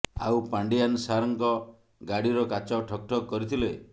ଆଉ ପାଣ୍ଡିଆନ ସାର୍ଙ୍କ ଗାଡ଼ିର କାଚ ଠକ୍ ଠକ୍ କରିଥିଲେ